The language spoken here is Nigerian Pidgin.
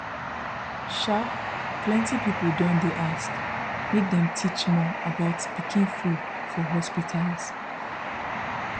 um plenty people don dey ask make dem teach more about pikin food for hospitals